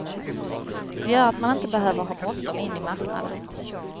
Det gör att man inte behöver ha bråttom in i marknaden.